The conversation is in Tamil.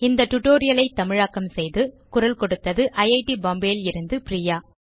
இந்த tutorial ஐ தமிழாக்கம் செய்து குரல் கொடுத்தது ஐட் பாம்பே லிருந்து பிரியா